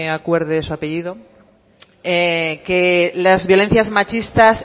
acuerde de su apellido que las violencias machistas